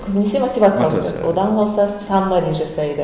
көбінесі мотивациялық одан қалса саммари жасайды